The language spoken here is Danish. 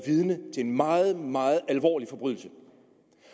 vidne til en meget meget alvorlig forbrydelse